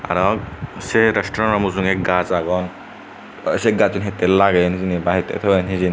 arow sey resturent rano mujunge gaj agon arow sey gassun hittey lageyon hijeni ba hittey toyon hijeni.